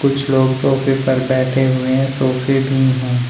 कुछ लोग सोफे पर बैठे हुए हैं सोफे भी हैं।